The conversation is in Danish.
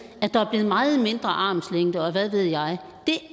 at der er blevet meget mindre armslængde og hvad ved jeg